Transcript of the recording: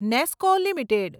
Nesco limited